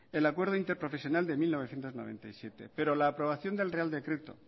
el acuerdo interprofesional de mil novecientos noventa y siete pero la aprobación del real decreto